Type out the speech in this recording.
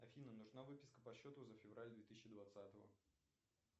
афина нужна выписка по счету за февраль две тысячи двадцатого